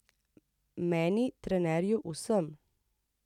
Meni, trenerju, vsem.